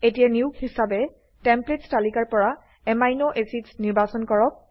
এতিয়া নিয়োগ হিৱাবে টেমপ্লেটছ তালিকাৰ পৰা আমিন এচিডছ নিৰ্বাচন কৰক